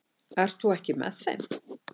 Ert þú ekki með þeim?